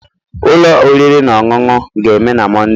Ụlọ oriri na ọṅụṅụ ga-eme na Monday.